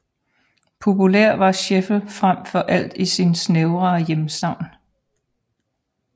Populær var Scheffel frem for alt i sin snævrere hjemstavn